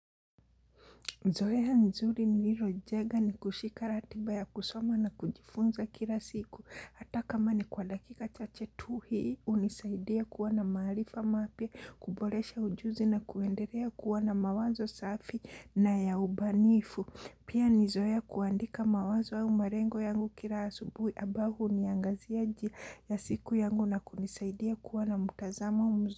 Zoya nzuri ni lirojega ni kushika ratiba ya kusoma na kujifunza kila siku. Hata kama ni kwa dakika cha chetuhi, unisaidia kuwa na mahalifa mapia, kubolesha ujuzi na kuenderea kuwana mawazo safi na yaubanifu. Pia ni zoea kuandika mawazo au marengo yangu kila asubuhi abao huniangazia nji ya siku yangu na kunisaidia kuwa na mutazamo mzu.